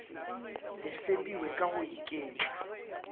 le fepiwe ka go iketla